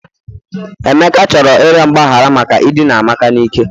Emeka chọrọ ịrịọ mgbaghara maka idina amaka n'ike